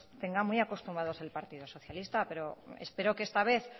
tenga muy acostumbrado el partido socialista pero espero que esta vez